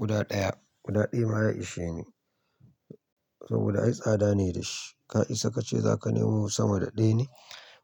Guda ɗaya, guda ɗaya ya ishe ni. Saboda ai tsada ne da shi. Ka isa kace za ka nemo sama da ɗaya ne?